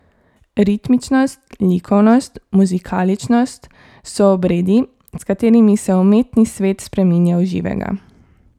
Ritmičnost, likovnost, muzikaličnost so obredi, s katerimi se umetni svet spreminja v živega.